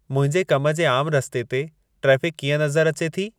मुंहिंजे कम जे आमु रस्ते ते ट्रेफ़िक कीअं नज़रि अचे थी